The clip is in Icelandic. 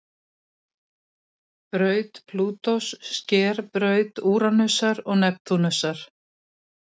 Braut Plútós sker braut Úranusar og Neptúnusar.